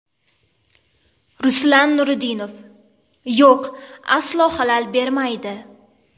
Ruslan Nuriddinov: Yo‘q, aslo xalal bermaydi.